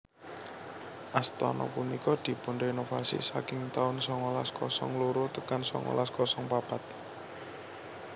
Astana punika dipunrenovasi saking taun songolas kosong loro tekan songolas kosong papat